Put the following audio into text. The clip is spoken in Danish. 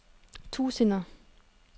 tusinder